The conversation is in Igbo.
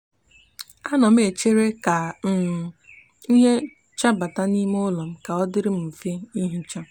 o n' enwe obiuto na ojuju afo ma ohichsia ulo ya n'ahu um nno ogbe di ocha